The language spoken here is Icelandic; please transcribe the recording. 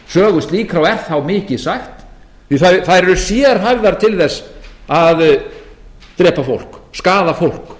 sögu slíkra og er þá mikið sagt því að þær eru sérhæfðar til þess að drepa fólk skaða fólk